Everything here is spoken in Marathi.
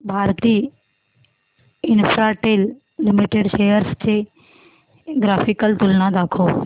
भारती इन्फ्राटेल लिमिटेड शेअर्स ची ग्राफिकल तुलना दाखव